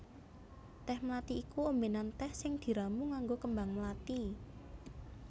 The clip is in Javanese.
Tèh mlathi iku ombènan tèh sing diramu nganggo kembang mlathi